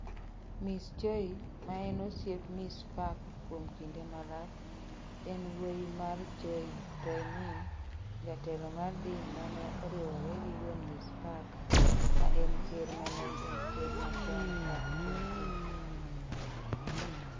Ms. Choi, ma en osiep Ms. Park kuom kinde malach, en wuoyi mar Choi Tae-min, jatelo mar din mane oriwre gi wuon Ms. Park, maen ker mane en ker machon Park Chung-hee.